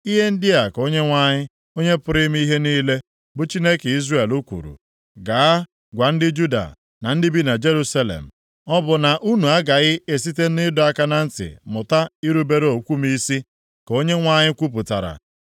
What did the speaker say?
Ihe ndị a ka Onyenwe anyị, Onye pụrụ ime ihe niile, bụ Chineke Izrel kwuru, “Gaa gwa ndị Juda na ndị bi na Jerusalem, ‘Ọ bụ na unu agaghị esite nʼịdọ aka na ntị mụta irubere okwu m isi?’ ka Onyenwe anyị kwupụtara.